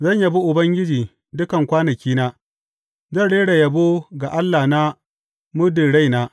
Zan yabi Ubangiji dukan kwanakina; zan rera yabo ga Allahna muddin raina.